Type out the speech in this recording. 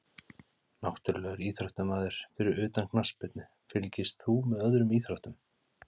Náttúrulegur íþróttamaður Fyrir utan knattspyrnu, fylgist þú með öðrum íþróttum?